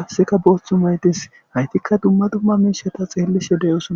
qassikka booththa mayi des; hayithikka dumma dumma miishshatha xeellishe de7oosona.